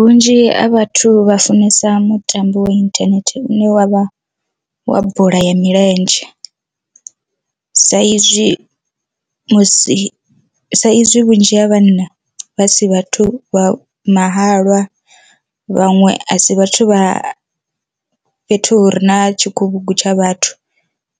Vhunzhi ha vhathu vha funesa mutambo wa inthanethe une wavha wa bola ya milenzhe, sa izwi musi sa izwi vhunzhi ha vhanna vha si vhathu vha mahalwa vhaṅwe a si vhathu vha fhethu hu re na tshikhuvhugu tsha vhathu